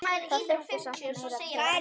Það þurfti samt meira til.